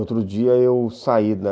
Outro dia eu saí da...